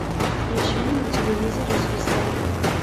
включи мне на телевизоре звезда